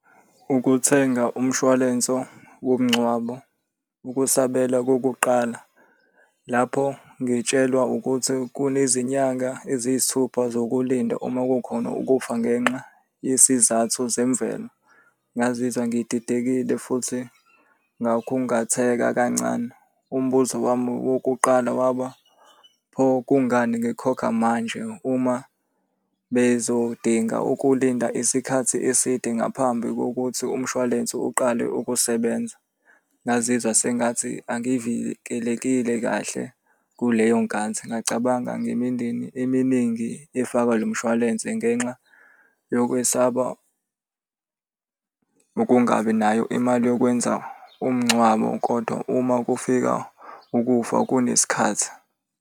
Ukuthenga umshwalenso womngcwabo. Ukusabela kokuqala, lapho ngitshelwa ukuthi kunezinyanga eziyisithupha zokulinda uma kukhona ukufa ngenxa yesizathu zemvelo. Ngazizwa ngididekile futhi ngakhungatheka kancane. Umbuzo wami wokuqala waba, pho kungani ngikhokha manje uma bezodinga ukulinda isikhathi eside ngaphambi kokuthi umshwalense uqale ukusebenza? Ngazizwa sengathi angivikelekile kahle kuleyo nkathi. Ngacabanga ngemindeni eminingi efakwa lo mshwalense ngenxa yokwesaba ukungabi nayo imali yokwenza umngcwabo kodwa uma kufika ukufa kunesikhathi.